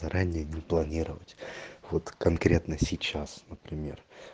заранее будем планировать вот конкретно сейчас например